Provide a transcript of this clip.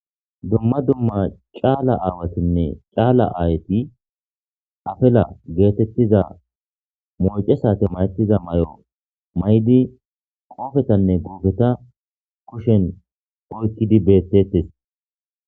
Dumma dumma caala aawatinne caala aayati afela geetettiza mooce saate mayetiza may7o maydi qoofetanne goufeta kushen oykkidi bettettes